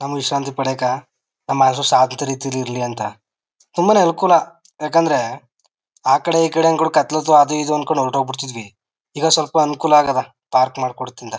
ವಿಶ್ರಾಂತಿ ಪಡಿಯೋಕ್ ನಮೆಲ್ರು ರೀತಿಳಿರಲಿ ಅಂತ. ತುಂಬಾನೇ ಅನುಕೂಲ ಯಾಕೆಂದ್ರೆ ಆಕಡೆ ಈಕಡೆ ಕಥಾಲೋತು ಅದು ಇದು ಅನ್ಕೊಂಡು ಹೊರಟಾಗ್ಬಿಡ್ತಿದ್ವಿ. ಈಗ ಸ್ವಲ್ಪ ಅನುಕೂಲ ಅಗೆದ ಪಾರ್ಕ್ ಮಾಡ್ಕೋತ್ತಿಂದ.